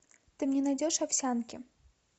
ты мне найдешь овсянки